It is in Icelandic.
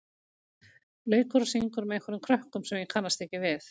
leikur og syngur með einhverjum krökkum sem ég kannast ekki við.